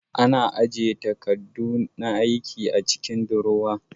Ana ajiye takadu na aiki a cikin durowa